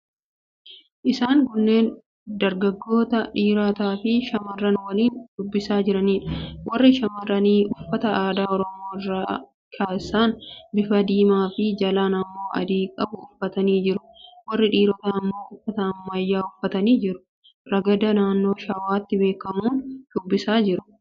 Isaan kunneen dargaggoota, dhiirotaafi shamarran waliin shubbisaa jiraniidha. Warri shamarranii uffata aadaa Oromoo irra keessaan bifa diimaafi jalaan immoo adii qabu uffatanii jiru. Warri dhiirotaa immoo uffata ammayyaa uffatanii jiru. Ragada naannoo Shawaatti beekamuun shubbisaa jiru.